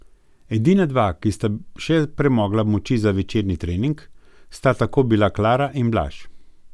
Edina dva, ki sta še premogla moči za večerni trening, sta tako bila Klara in Blaž.